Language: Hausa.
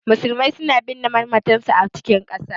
Musulmai suna binne mamatansu a cikin ƙasa.